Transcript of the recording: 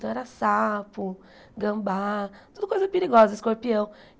Então era sapo, gambá, tudo coisa perigosa, escorpião.